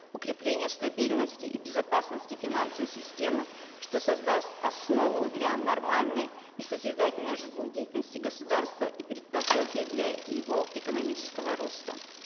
укрепление стабильности и безопасности финансовой системы что создаст основу для нормальной и созидательной жизнедеятельности государства и предпосылки для его экономического роста